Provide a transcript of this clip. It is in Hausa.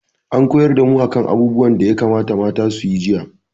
An koyar da mu a kan abubuwan da ya kamata mata su yi jiya